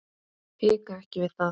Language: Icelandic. Hika ekki við það.